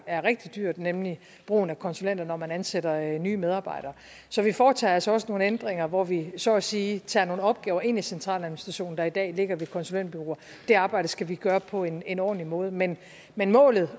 er rigtig dyrt nemlig brugen af konsulenter når man ansætter nye medarbejdere så vi foretager altså også nogle ændringer hvor vi så at sige tager nogle opgaver ind i centraladministrationen der i dag ligger ved konsulentbureauer det arbejde skal vi gøre på en ordentlig måde men men målet